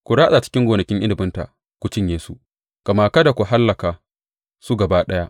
Ku ratsa cikin gonakin inabinta ku cinye su, amma kada ku hallaka su gaba ɗaya.